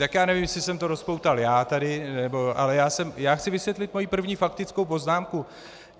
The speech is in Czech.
Tak já nevím, jestli jsem to rozpoutal já tady, ale já chci vysvětlit svoji první faktickou poznámku.